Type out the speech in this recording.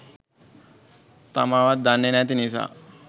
තමාවත් දන්නෙ නැති නිසා.